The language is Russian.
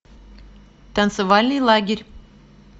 танцевальный лагерь